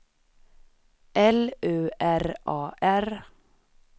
L U R A R